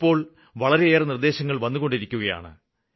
ഇപ്പോള് വളരെയേറെ നിര്ദ്ദേശങ്ങള് വന്നുകൊണ്ടിരിക്കുകയാണ്